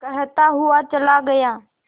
कहता हुआ चला गया